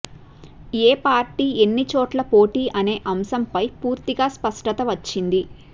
ఏ party ఎన్నిచోట్ల పోటీ అనే అంశంపై పూర్తిగా స్పష్టత వచ్చింది